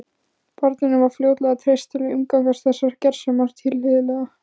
Barninu var fljótlega treyst til að umgangast þessar gersemar tilhlýðilega.